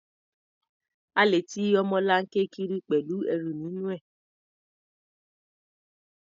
A lè ti ọmọlanke kiri pẹ̀lú ẹrù nínú rẹ̀.